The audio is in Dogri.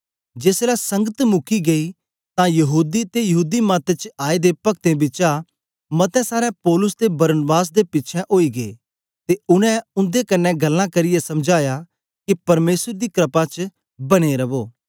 जेसलै संगत मुकी गेई तां यहूदी ते यहूदी मत च आए दे पक्तें बिचा मते सारे पौलुस ते बरनबास दे पिछें ओई गे ते उनै उन्दे कन्ने गल्लां करियै समझाया के परमेसर दी क्रपा च बने रवो